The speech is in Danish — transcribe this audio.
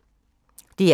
DR K